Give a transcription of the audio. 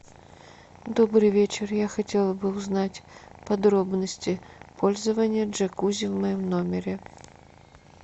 добрый вечер я хотела бы узнать подробности пользования джакузи в моем номере